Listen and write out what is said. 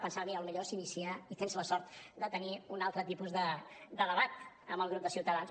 pensava mira potser s’inicia i tens la sort de tenir un altre tipus de debat amb el grup de ciutadans